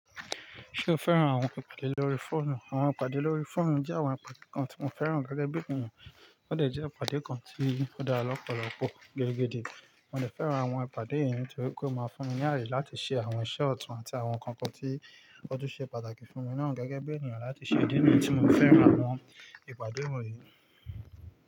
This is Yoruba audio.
Ṣé o fẹ́ràn àwọn ìpàdé lórí fóònù? Àwọn ìpàdé lórí fóònù jẹ́ àwọn ìpàdé kan tí mo fẹ́ràn gẹ́gẹ́ bí ènìyàn. Ó dè jẹ́ ìpàdé kan tí ó dára lọ́pọ̀lọpọ̀ gẹ́gẹ́ dé. Mo dè fẹ́ràn àwọn ìpàdé yìí nítorí pé ó máa fún mi ní ààyè láti ṣe àwọn iṣẹ́ ọ̀tún àti àwọn nǹkan kan tí ó tún ṣe pàtàkì fún mi náà gẹ́gẹ́ bí ènìyàn láti ṣe ìdí nìyí tí mo fẹ́ràn àwọn ìpàdé wọ̀nyí.